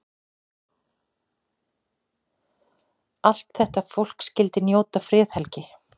Allt þetta fólk skyldi njóta friðhelgi.